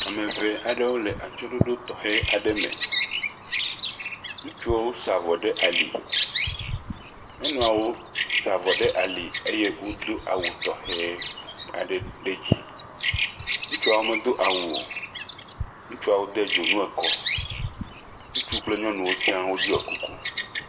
Ame ŋee aɖewo le atsyɔ̃ɖoɖo tɔxɛ aɖe me, ŋutsuwo sa avɔ ɖe ali, nyɔnuawo sa avɔ ɖe ali eye wodo awu tɔxɛ aɖe ɖe edzi, ŋutsuawo medo awu o, ŋutsuiawo de dzonu ekɔ, ŋutsuawo de dzonu ekɔ, ŋutsuawo kple nyɔnuawo ɖɔ kuku.